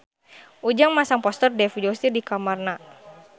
Ujang masang poster Dev Joshi di kamarna